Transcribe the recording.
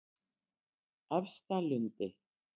Efstalundi